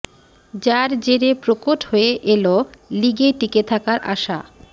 যার জেরে প্রকট হয়ে এল লিগে টিকে থাকার আশা